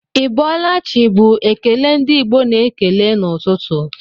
Ị bọọla chi bu ekele ndi Igbo na-ekele n'ụtụtụ